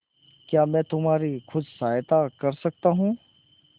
क्या मैं तुम्हारी कुछ सहायता कर सकता हूं